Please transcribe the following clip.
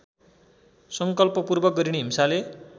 सङ्कल्पपूर्वक गरिने हिंसाले